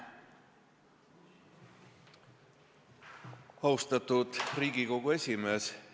Austatud Riigikogu esimees!